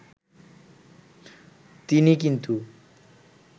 তিনি কিন্তু